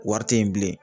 Wari tɛ yen bilen